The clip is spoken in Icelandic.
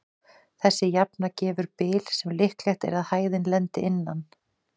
Þessi jafna gefur bil sem líklegt er að hæðin lendi innan.